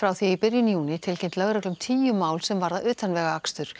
því í byrjun júní tilkynnt lögreglu um tíu mál sem varða utanvegaakstur